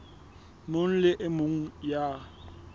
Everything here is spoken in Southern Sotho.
mong le e mong ya